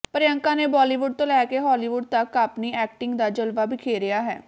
ਪਿ੍ਰਅੰਕਾ ਨੇ ਬਾਲੀਵੁੱਡ ਤੋਂ ਲੈ ਕੇ ਹਾਲੀਵੁੱਡ ਤਕ ਆਪਣੀ ਐਕਟਿੰਗ ਦਾ ਜਲਵਾ ਬਿਖੇਰਿਆ ਹੈ